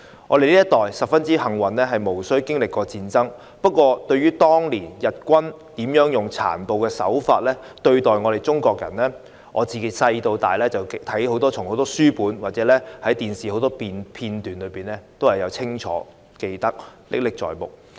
我們這一代相當幸運，無須經歷戰爭，但對於日軍當年如何以殘暴手法對待中國人，我從小到大從書本或電視片段中都清楚看到，歷史事件歷歷在目。